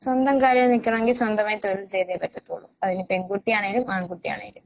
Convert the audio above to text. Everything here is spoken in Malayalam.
സ്വന്തം കാലിൽ നിക്കണെങ്കി സ്വന്തമായി തൊഴിൽ ചെയ്തേ പറ്റത്തൊള്ളു അതിനി പെൺകുട്ടിയാണേലും ആൺകുട്ടിയാണേലും.